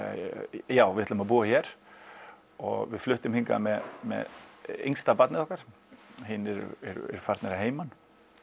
já við ætlum að búa hér og við fluttum hingað með með yngsta barnið okkar hinir eru farnir að heiman